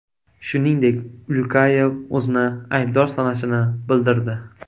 Shuningdek, Ulyukayev o‘zini aybdor sanashini bildirdi.